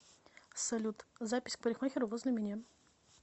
салют запись к парикмахеру возле меня